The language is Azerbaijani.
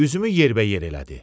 Üzümü yerbəyer elədi.